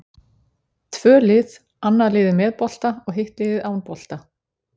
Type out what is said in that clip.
Tvö lið, annað liðið með bolta og hitt liðið án bolta.